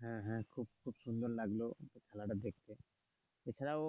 হ্যাঁ হ্যাঁ খুব সুন্দর লাগলো খেলাটা দেখতে এ খেলাও